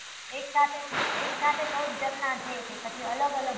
એક સાથે, એક સાથે ચૌદ ઝરણા છે કે પછી અલગ અલગ